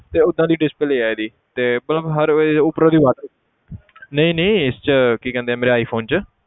ਤੇ ਓਦਾਂ ਦੀ display ਆ ਇਹਦੀ ਤੇ ਪਰ ਹਰ ਇਹ ਉੱਪਰੋਂ ਦੀ ਨਹੀਂ ਨਹੀਂ ਇਸ 'ਚ ਕੀ ਕਹਿੰਦੇ ਆ ਮੇਰੇ iphone 'ਚ